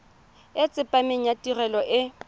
e tsepameng ya tirelo e